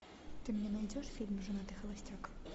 ты мне найдешь фильм женатый холостяк